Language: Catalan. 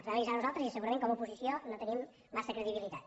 els vam avisar nosaltres i segurament com a oposició no tenim massa credibilitat